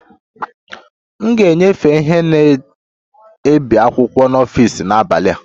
A ga-enyefe ihe na-ebi akwụkwọ n'ọfịs n'abalị a